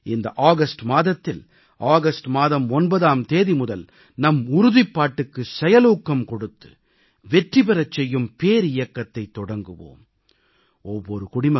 வாருங்கள் இந்த ஆகஸ்ட் மாதத்தில் ஆகஸ்ட் மாதம் 9ஆம் தேதி முதல் நம் உறுதிப்பாட்டுக்கு செயலூக்கம் கொடுத்து வெற்றி பெறச் செய்யும் பேரியக்கத்தைத் தொடங்குவோம்